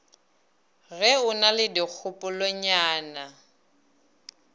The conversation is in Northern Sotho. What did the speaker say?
ge o na le dikgopolonyana